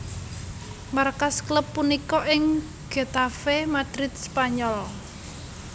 Markas klub punika ing Getafe Madrid Spanyol